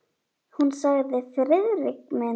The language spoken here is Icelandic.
Hún sagði: Friðrik minn!